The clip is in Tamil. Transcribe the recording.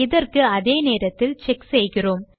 இதற்கு அதே நேரத்தில் செக் செய்கிறோம்